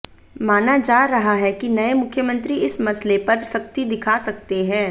माना जा रहा है कि नए मुख्यमंत्री इस मसले पर सख्ती दिखा सकते हैं